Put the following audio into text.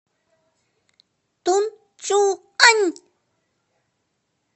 тунчуань